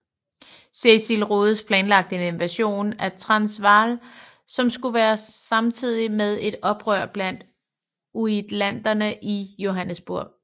Cecil Rhodes planlagde en invasion af Transvaal som skulle være samtidig med et oprør blandt uitlanderne i Johannesburg